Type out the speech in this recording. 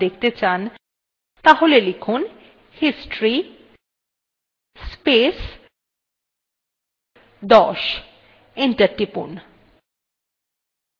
তাহলে লিখুন history space 10 enter টিপুন